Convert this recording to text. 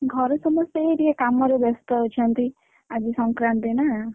ଘରେ ସମସ୍ତେ ଏଇ ଟିକେ କାମରେ ବ୍ୟସ୍ତ ଅଛନ୍ତି ଆଜି ସଂକ୍ରାନ୍ତି ନା!